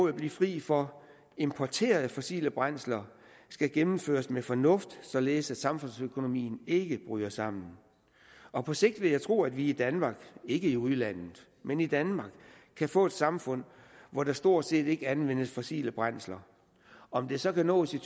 at blive fri for importerede fossile brændsler skal gennemføres med fornuft således at samfundsøkonomien ikke bryder sammen og på sigt vil jeg tro at vi i danmark ikke i udlandet men i danmark kan få et samfund hvor der stort set ikke anvendes fossile brændsler om det så kan nås i